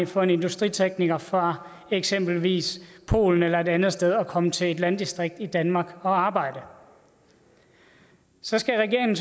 for en industritekniker fra eksempelvis polen eller et andet sted at komme til et landdistrikt i danmark og arbejde så skal regeringen